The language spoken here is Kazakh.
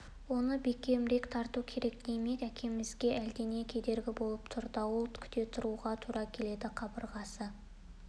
оны бекемірек тарту керек демек әкемізге әлдене кедергі болып тұр дауыл күте тұруға тура келеді қабырғасы